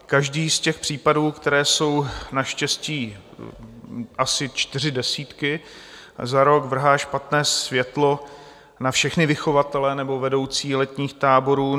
Každý z těch případů, kterých jsou naštěstí asi čtyři desítky za rok, vrhá špatné světlo na všechny vychovatele nebo vedoucí letních táborů.